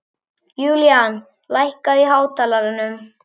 Julian, lækkaðu í hátalaranum.